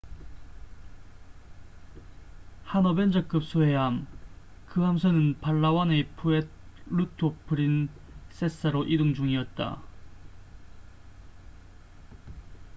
한 어벤저급 소해함 그 함선은 팔라완의 푸에르토 프린세사로 이동 중이었다